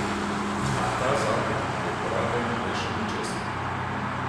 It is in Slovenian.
A ta zakon glede porabe ni rešil ničesar.